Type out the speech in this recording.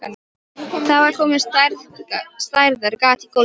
Það var komið stærðar gat í gólfið.